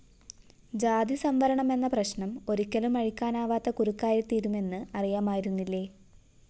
ജാതി സംവരണമെന്ന പ്രശ്‌നം ഒരിക്കലും അഴിക്കാനാവാത്ത കുരുക്കായിത്തീരുമെന്ന് അറിയാമായിരുന്നില്ലേ